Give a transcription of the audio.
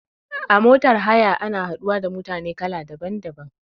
A motar haya ana haɗuwa da mutane kala daban daban